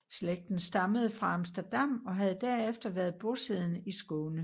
Slægten stammede fra Amsterdam og havde derefter været bosiddende i Skåne